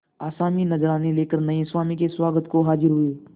आसामी नजराने लेकर नये स्वामी के स्वागत को हाजिर हुए